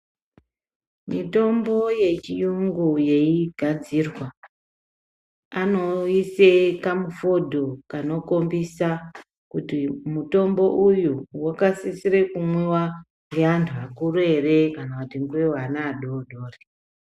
Mitombo yechiyungu yeigadzirwa anoise kamufodho kanokhombisa kuti mutombo uyu wakasisire kumwiwa ngeantu akuru ere? kana kuti ngeweana adoodori.